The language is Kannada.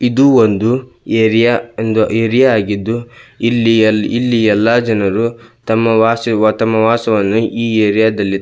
ಇದು ಒಂದು ಏರಿಯಾ ಒಂದು ಏರಿಯಾ ಆಗಿದ್ದು ಇಲ್ಲಿ ಇಲ್ಲಿ ಎಲ್ಲಾ ಜನರು ತಮ್ಮ ವಾಸಿವ್ ತಮ್ಮ ವಾಸವನ್ನು ಈ ಏರಿಯಾದಲ್ಲಿ --